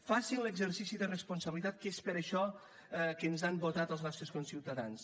facin l’exercici de responsabilitat que és per a això que ens han votat els nostres conciutadans